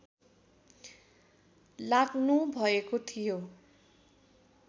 लाग्नुभएको थियो